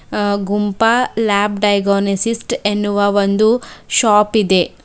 ಅ ಗುಂಪ ಲ್ಯಾಪ್ ಡೈಗೊನಸಿಸ್ಟ್ ಎನ್ನುವ ಒಂದು ಶಾಪ್ ಇದೆ.